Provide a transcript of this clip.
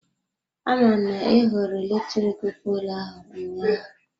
Aman na I hụrụ electric poolụ ahụ ụnyaahụ?